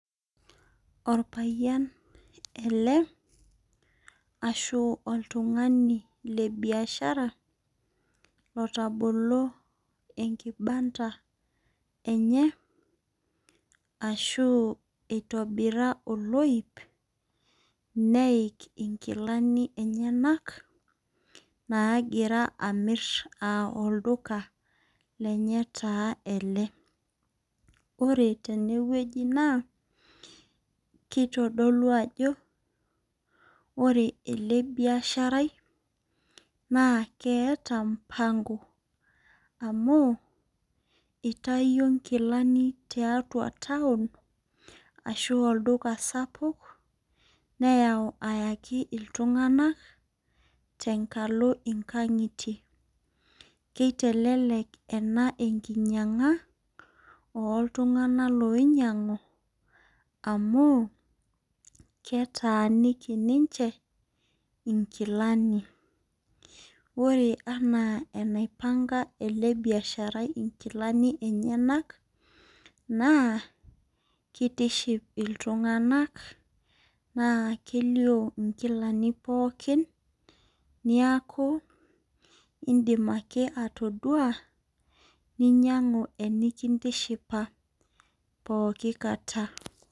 Orpayiani ele ashu oltung'ani le biashara lotabolo enkibanda enye ashu itobira oloip neik inkilani enyenak nagira amir aa olduka lenye taa ele . Ore tenewueji naa kitodolu ajo ore ele biashara i naa keeta mpango amu itayio nkilani tiatua town ashu olduka sapuk neyau ayaki iltung'anak tenkalo inkang'itie . Kitelelek ena enkinyang'a oltung'anak loinyiang'u amu ketaaniki ninche nkilani. Ore enaa enaipang'a ele biashara i nkilani enyenak naa kitiship iltung'anak naa kelio inkilani pookin niaku indim ake atodua ninyangu enikintishipa pooki kata.